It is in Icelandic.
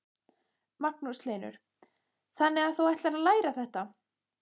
Magnús Hlynur: Þannig að þú ætlar að læra þetta?